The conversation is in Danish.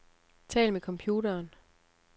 Tal med computeren.